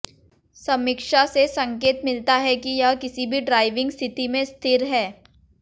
समीक्षा से संकेत मिलता है कि यह किसी भी ड्राइविंग स्थिति में स्थिर है